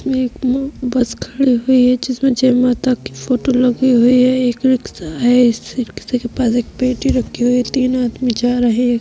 एक म बस खड़ी हुई है जिसमें जय माता की फोटो लगी हुई है। एक रिक्शा है। इस रिक्शे के पास एक पेटी रखी हुई है तीन आदमी जा रहे हैं।